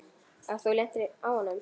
Og þú lentir á honum?